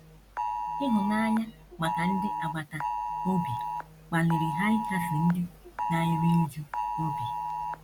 Ịhụnanya maka ndị agbata obi kpaliri ha ịkasi ndị na - eru újú obi.